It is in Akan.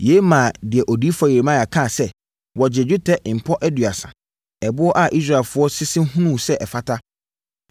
Yei maa deɛ Odiyifoɔ Yeremia kaa sɛ, “Wɔgyee dwetɛ mpɔ aduasa, ɛboɔ a Israelfoɔ sese hunuu sɛ ɛfata,